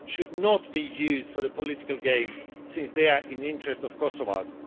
should not be used for political games since they are in the interests of Kosovars.